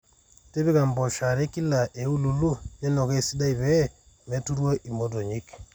tipika impoosho are kila eululu ninukaa esidai pee meturru imotonyik